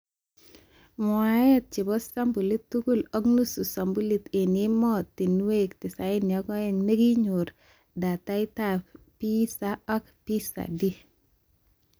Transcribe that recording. Mwateet chebo sampulit tugul ak nusu sampuli eng ematinwek 92 nekinyoru dataitab PISA ak PISA-D